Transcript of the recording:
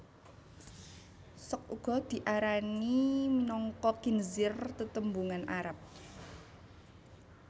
Sok uga diarani minangka khinzir tetembungan Arab